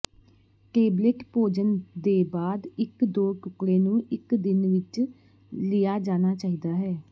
tablet ਭੋਜਨ ਦੇ ਬਾਅਦ ਇੱਕ ਦੋ ਟੁਕੜੇ ਨੂੰ ਇੱਕ ਦਿਨ ਵਿੱਚ ਲਿਆ ਜਾਣਾ ਚਾਹੀਦਾ ਹੈ